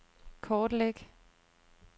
kortlæg